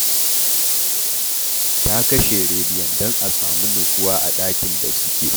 Ta kashe rediyon don a samu nutsuwa a ɗakin da suke